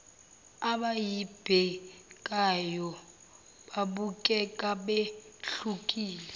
abayibhekayo babukeka behlukile